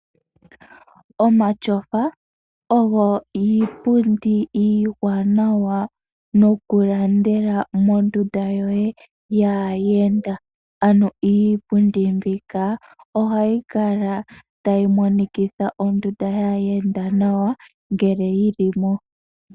Omatyofa oyo iipundi iiwanawa nokulandela mondunda yoye yaayenda. Ano iipundi mbika ohayi kala tayi monikitha ondunda yaayenda nawa ngele yi li mo.